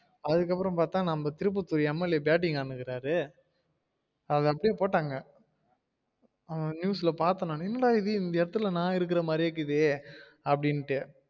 அதுக்கு அப்றோ பாத்தா நம்ம திருபத்தூர் MLA batting ஆடிட்டு இருக்காரு அத அப்டியே போடங்க அஹ் news ல பாத்தேன் நானு என்னடா இது இந்த எடத்துல நா இருக்குற மாறி இருக்குது அப்டின்ட்டு